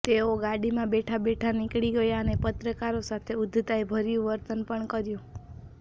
તેઓ ગાડીમાં બેઠા બેઠા નીકળી ગયા અને પત્રકારો સાથે ઉદ્ધતાઈ ભર્યુ વર્તન પણ કર્યુ